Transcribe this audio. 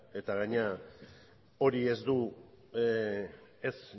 eta gainera hori ez du ez